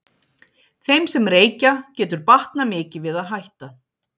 Þeim sem reykja getur batnað mikið við að hætta.